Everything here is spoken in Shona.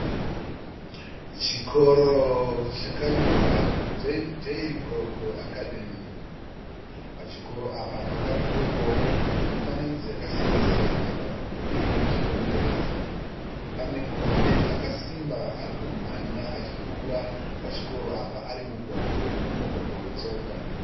Chikoro chakanyorwa kuti Donnybrook Academy. Pachikoro apa pakadhirowewawo mifananidzo yakasiyana siyana pamudhuri wekuchikomberedza. Pane murume akasimba ari kumhanya achipfuura pachikoro apa ari mumugwagwa wemumugwagwa wetsoka.